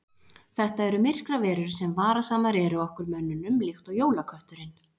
Þetta eru myrkraverur sem varasamar eru okkur mönnunum líkt og jólakötturinn.